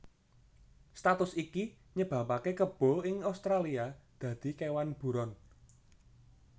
Status iki nyebabaké kebo ing Australia dadi kéwan buron